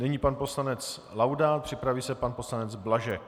Nyní pan poslanec Laudát, připraví se pan poslanec Blažek.